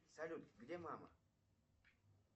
салют где мама